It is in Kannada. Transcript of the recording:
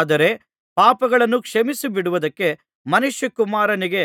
ಆದರೆ ಪಾಪಗಳನ್ನು ಕ್ಷಮಿಸಿಬಿಡುವುದಕ್ಕೆ ಮನುಷ್ಯಕುಮಾರನಿಗೆ